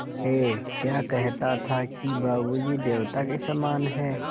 ऐं क्या कहता था कि बाबू जी देवता के समान हैं